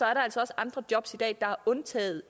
altså også andre jobs i dag der er undtaget